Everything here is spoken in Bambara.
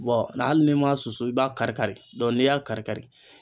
hali n'i ma susu i b'a kari kari n'i y'a kari kari.